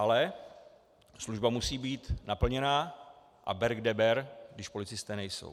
Ale služba musí být naplněna a ber kde ber, když policisté nejsou.